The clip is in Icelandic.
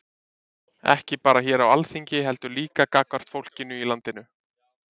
Ekki bara hér á Alþingi heldur líka gagnvart fólkinu í landinu?